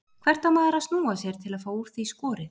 Hvert á maður að snúa sér til að fá úr því skorið?